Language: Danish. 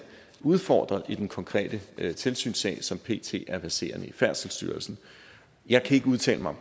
udfordret i den konkrete tilsynssag som pt er verserende i færdselsstyrelsen jeg kan ikke udtale mig